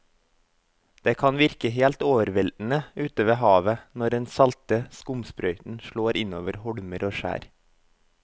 Det kan virke helt overveldende ute ved havet når den salte skumsprøyten slår innover holmer og skjær.